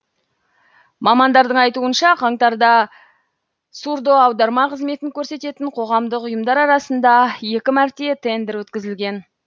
мамандардың айтуынша қаңтарда сурдоаударма қызметін көрсететін қоғамдық ұйымдар арасында екі мәрте тендер өткізілген